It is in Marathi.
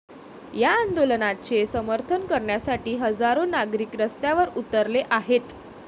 या आंदोलनाचे समर्थन करण्यासाठी हजारो नागरिक रस्त्यावर उतरले आहेत.